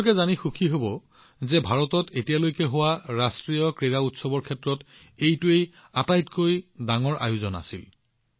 আপোনালোকে জানি সুখী হব যে এইবাৰৰ ৰাষ্ট্ৰীয় ক্ৰীড়া ভাৰতত এতিয়ালৈকে আয়োজিত আটাইতকৈ বৃহৎ ক্ৰীয়াৰ আয়োজন আছিল